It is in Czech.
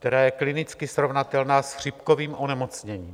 - která je klinicky srovnatelná s chřipkovým onemocněním.